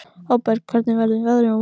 Hafberg, hvernig verður veðrið á morgun?